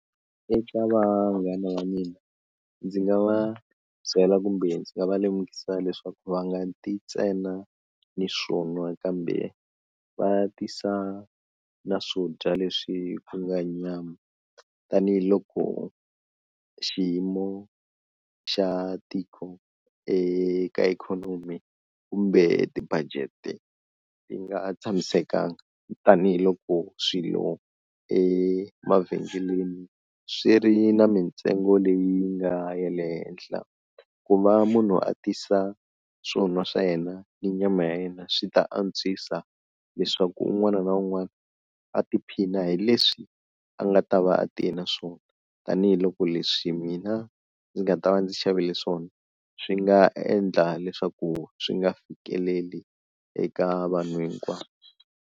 Eka vanghana va mina ndzi nga va byela kumbe ndzi nga va lemukisa leswaku va nga ti ntsena ni swo nwa kambe va tisa na swo dya leswi ku nga nyama, tanihiloko xiyimo xa tiko eka ikhonomi kumbe ti-budget-e ti nga tshamisekanga tanihiloko swilo emavhengeleni swi ri na mintsengo leyi nga ya le henhla, ku va munhu a tisa swo nwa swa yena ni nyama ya yena swi ta antswisa leswaku un'wana na un'wana a tiphina hi leswi a nga ta va a tile na swona tanihiloko leswi mina ndzi nga ta va ndzi xavile swona swi nga endla leswaku swi nga fikeleli eka vanhu hinkwavo.